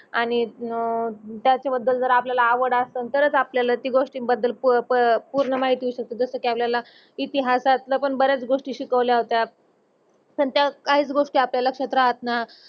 आणि अह त्याच बद्दल जरा आपल्याला आवड असल तर आपल्याल ती गोष्टी बद्दल प प पूर्ण माहिती जस कि आपल्याला इतिहासात्ल पण बरच गोष्टी शिकवल्यात पण त्यात काहीच गोष्टी आपल्यात लक्षात राहत ना